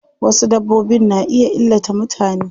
Wasu dabbbobin na iya illata mutane.